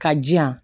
Ka jiyan